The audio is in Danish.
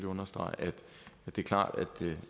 understrege at det er klart